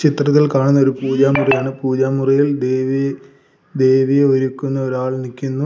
ചിത്രത്തിൽ കാണുന്നത് ഒരു പൂജാമുറിയാണ് പൂജാമുറിയിൽ ദേവി ദേവിയെ ഒരുക്കുന്ന ഒരാൾ നിക്കുന്നു.